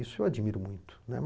Isso eu admiro muito, né.